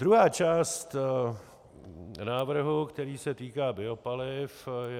Druhá část návrhu, který se týká biopaliv, je...